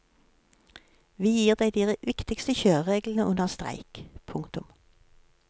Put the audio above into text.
Vi gir deg de viktigste kjørereglene under streik. punktum